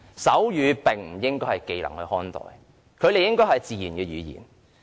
手語不應被視為技能，而是自然語言。